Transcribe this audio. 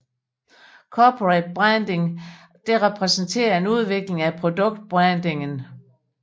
Corporate branding repræsenterer en udvikling af produkt brandingen